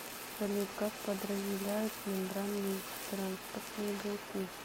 салют как подразделяют мембранные транспортные белки